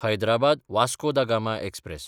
Hyderabad Vasco da Gama express